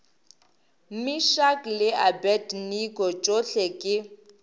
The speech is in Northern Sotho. meshack le abednego tšohle ke